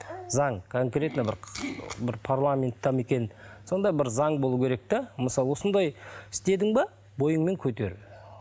заң конкретно бір бір парламентте ме екен сондай бір заң болу керек те мысалы осындай істедің бе бойыңмен көтер